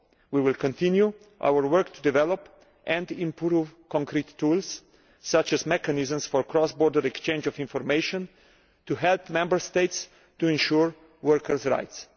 We will continue our work to develop and improve specific tools, such as mechanisms for the cross border exchange of information, to help Member States to ensure workers' rights.